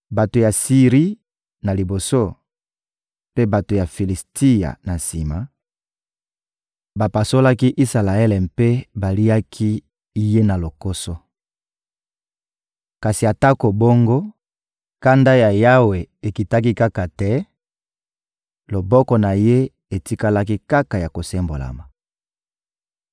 Bato ya Siri na liboso, mpe bato ya Filisitia na sima, bapasolaki Isalaele mpe baliaki ye na lokoso. Kasi atako bongo, kanda ya Yawe ekitaki kaka te, loboko na Ye etikalaki kaka ya kosembolama.